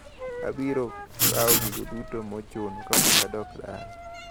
Abiro kawo gigo duto mochuno kapok adok dala.